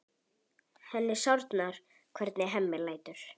Henni sárnar hvernig Hemmi lætur.